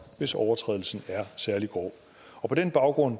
hvis overtrædelsen er særlig grov på den baggrund